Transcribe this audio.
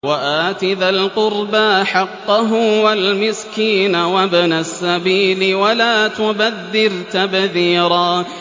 وَآتِ ذَا الْقُرْبَىٰ حَقَّهُ وَالْمِسْكِينَ وَابْنَ السَّبِيلِ وَلَا تُبَذِّرْ تَبْذِيرًا